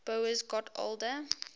boas got older